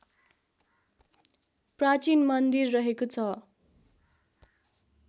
प्राचीन मन्दिर रहेको छ